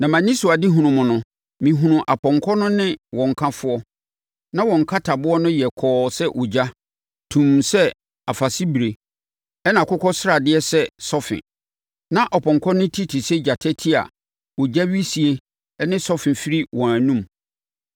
Na mʼanisoadehunu no mu no, mehunuu apɔnkɔ no ne wɔn kafoɔ. Na wɔn nkataboɔ no yɛ kɔɔ sɛ ogya, tumm sɛ afasebire, ɛnna akokɔsradeɛ sɛ sɔfe. Na ɔpɔnkɔ no ti te sɛ gyata ti a ogya wisie ne sɔfe firi wɔn anom.